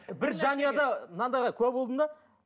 бір жанұяда мынандайға куә болдым да